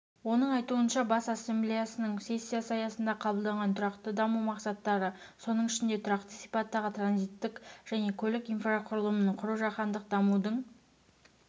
оның айтуынша бас ассамблеясының сессиясы аясында қабылданған тұрақты даму мақсаттары соның ішінде тұрақты сипаттағы транзиттік және көлік инфрақұрылымын құру жаһандық дамудың